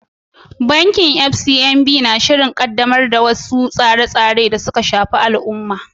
Bankin FCMB na shirin ƙaddamar da wasu tsare-tsare da suka shafi al’umma.